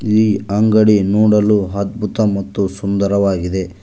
ಈ ಅಂಗಡಿ ನೋಡಲು ಅದ್ಭುತ ಮತ್ತು ಸುಂದರವಾಗಿದೆ.